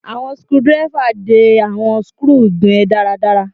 Awọn screwdriver de awọn skru gan daradara